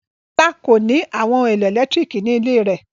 Bọ́lá kò ní àwọn ohun-èlò ẹ̀lẹ́tíríkì ní ilé rẹ̀.